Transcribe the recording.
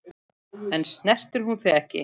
En snertir hún þig ekki?